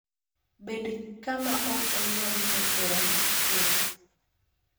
Bed kama ok onyal kethore chuth.